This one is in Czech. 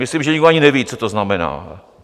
Myslím, že nikdo ani neví, co to znamená.